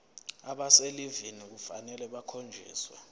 abaselivini kufanele bakhonjiswe